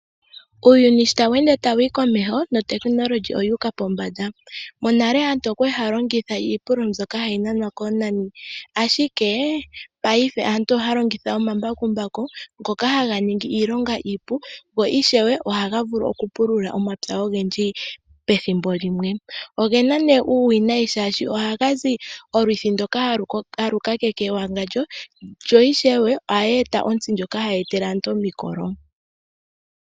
Uuyuni sho tawu ende wu uka komeho, nuutekinika owu uka pombanda. Monale aantu okwa li haya longitha iipululo mbyoka hayi nanwa koonani, ashike mopaife aantu ohaya longitha omambakumbaku, ngoka haga ningi iilonga iipu, go ishewe ohaga vulu okupulula omapya ogendji pethimbo limwe. Oge na nduno uuwinayi molwashoka ohaga zi olwithi ndoka halu kakeke ewangandjo, go ishewe ohaga eta ontsi ndjoka hayi etele aantu omikolo.